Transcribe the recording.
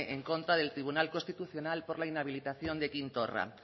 en contra del tribunal constitucional por la inhabilitación de quim torra